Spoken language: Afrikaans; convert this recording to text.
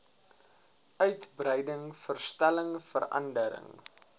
uitbreiding verstelling verandering